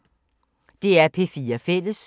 DR P4 Fælles